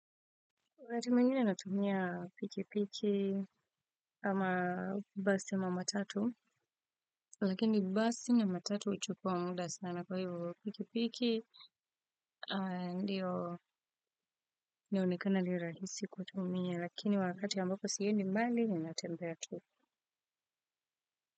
Wakati mwingine natumia pikipiki ama basi ma matatu, lakini basi na matatu huchukua muda sana kwa hivyo pikipiki, ndio ni unaonekana lni rahisi kutumia, lakini wakati ambapo siendi mbali ni natembea tu.